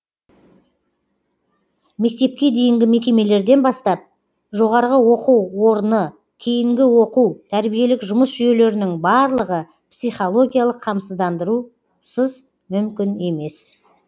мектепке дейінгі мекемелерден бастап жоғарғы оқу орны кейінгі оқу тәрбиелік жұмыс жүйелерінің барлығы психологиялық қамсыздандырусыз мүмкін емес